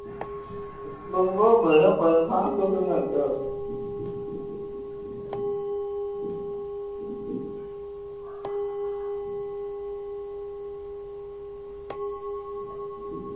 પછી શાંતિથી હું તને કેય